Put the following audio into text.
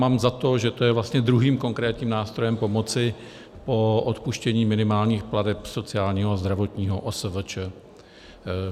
Mám za to, že to je vlastně druhým konkrétním nástrojem pomoci po odpuštění minimálních plateb sociálního a zdravotního OSVČ.